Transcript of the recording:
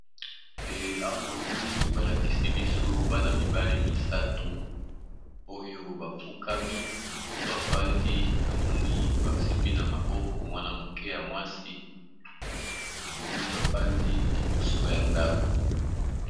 E awa namoni balakisi biso bana mibale misato oyo bafukami mosusu afandi namoni basimbi na maboko mwana moke ya mwasi namoni bafandi liboso ya ndako.